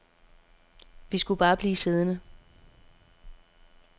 Vi skulle bare blive siddende.